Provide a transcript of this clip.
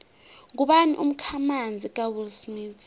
ngubani umkhamanzi kawillsmith